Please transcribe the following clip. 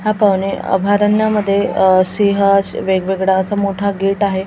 अभयारण्यामध्ये अ सिंह वेगवेगळ्या असा मोठा गेट आहे.